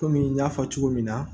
Kɔmi n y'a fɔ cogo min na